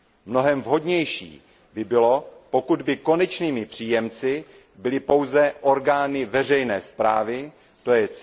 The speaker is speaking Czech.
Mnohem vhodnější by bylo, pokud by konečnými příjemci byly pouze orgány veřejné správy, tj.